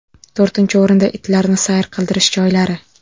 To‘rtinchi o‘rinda itlarni sayr qildirish joylari.